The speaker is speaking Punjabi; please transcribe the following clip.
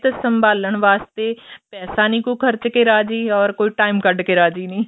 ਸੰਭਾਲਣ ਵਾਸਤੇ ਪੈਸਾ ਨੀ ਕੋਈ ਖਰਚ ਕੇ ਰਾਜ਼ੀ or ਕੋਈ time ਕੱਢ ਕੇ ਰਾਜ਼ੀ ਨੀ